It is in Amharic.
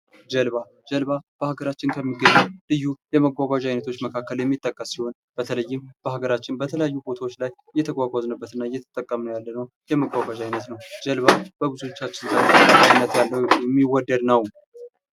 ጀልባ በሀገራችን ከሚገኙ ልዩ የመጓጓዣ አይነቶች የሚጠቀስ ይሆን በተለይ በሀገራችን በተለያዩ ቦታዎች ላይ እየተጓጓዝንበት እና እየተጠቀምንበት ያለው የመጓጓዣ አይነት ነው ጀልባ ብዙዎቻችን ዘንድ የሚወደድ ነው።